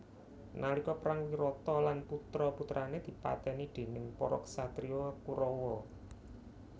Nalika perang Wirata lan putra putrane dipateni déning para ksatria Kurawa